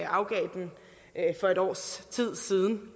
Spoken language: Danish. afgav den for et års tid siden